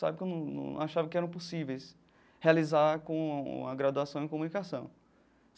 Sabe, que eu num num achava que eram possíveis realizar com a graduação em comunicação.